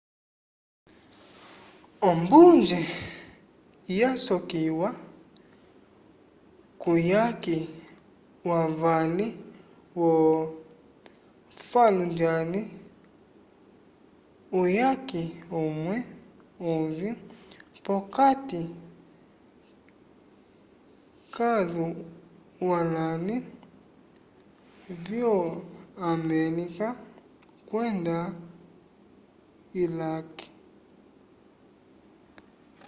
ombunje yasokiwa kuyaki wavali wo fallujah uyaki umwe uvĩ p'okati k'aswalãli vyo-amelika kwenda ilake